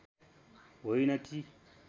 होइन कि